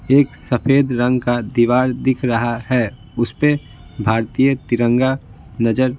एक सफेद रंग का दीवार दिख रहा है उस पे भारतीय तिरंगा नजर--